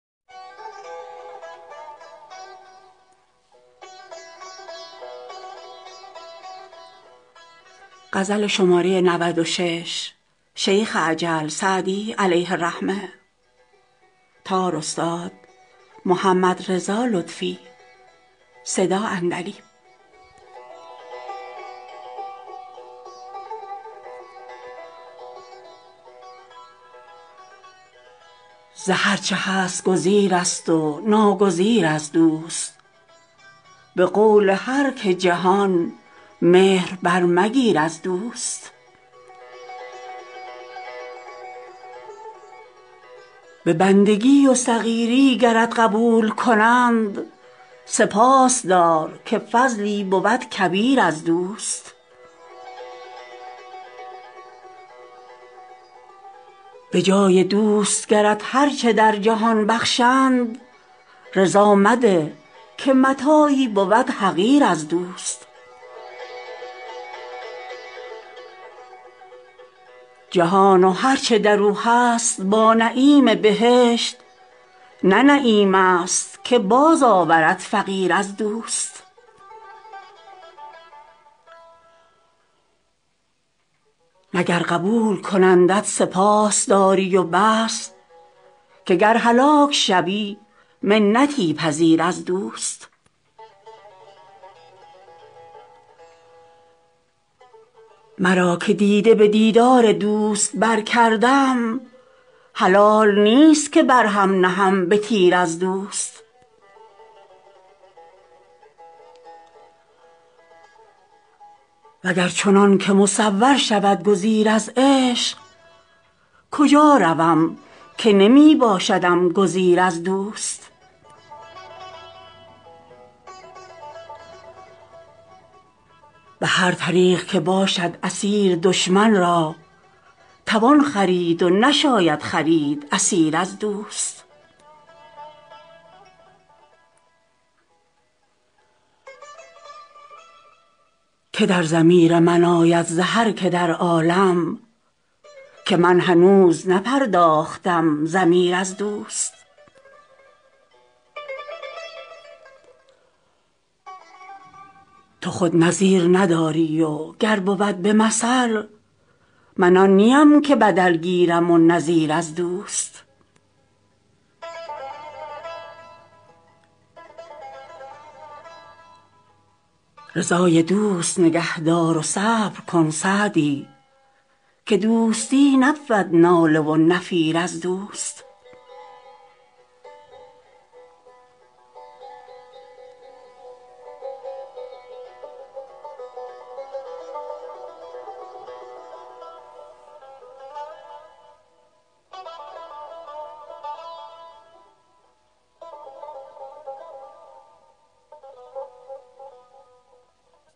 ز هر چه هست گزیرست و ناگزیر از دوست به قول هر که جهان مهر برمگیر از دوست به بندگی و صغیری گرت قبول کند سپاس دار که فضلی بود کبیر از دوست به جای دوست گرت هر چه در جهان بخشند رضا مده که متاعی بود حقیر از دوست جهان و هر چه در او هست با نعیم بهشت نه نعمتیست که بازآورد فقیر از دوست نه گر قبول کنندت سپاس داری و بس که گر هلاک شوی منتی پذیر از دوست مرا که دیده به دیدار دوست برکردم حلال نیست که بر هم نهم به تیر از دوست و گر چنان که مصور شود گزیر از عشق کجا روم که نمی باشدم گزیر از دوست به هر طریق که باشد اسیر دشمن را توان خرید و نشاید خرید اسیر از دوست که در ضمیر من آید ز هر که در عالم که من هنوز نپرداختم ضمیر از دوست تو خود نظیر نداری و گر بود به مثل من آن نیم که بدل گیرم و نظیر از دوست رضای دوست نگه دار و صبر کن سعدی که دوستی نبود ناله و نفیر از دوست